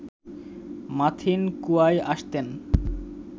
মাথিন কুয়ায় আসতেন